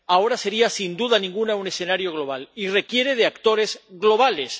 Ahora sería sin duda ninguna un escenario global y requiere de actores globales.